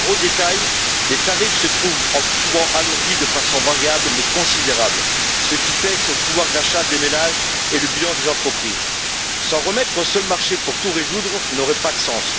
Car, au détail, les tarifs se trouvent souvent alourdis de façon variable mais considérable, ce qui pèse sur le pouvoir d'achat des ménages et le bilan des entreprises. S'en remettre au seul marché pour tout résoudre n'aurait pas de sens.